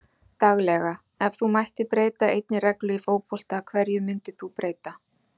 Daglega Ef þú mættir breyta einni reglu í fótbolta, hverju myndir þú breyta?